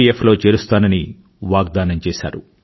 F లో చేరుస్తానని వాగ్దానం చేశారు